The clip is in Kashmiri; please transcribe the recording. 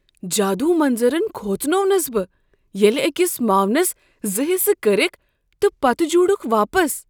جادو منظرن كھوژنوونس بہٕ ییٚلہِ اكِس معاون ٲڑٕ كرِكھ تہٕ پتہٕ جوٗڑُكھ واپس۔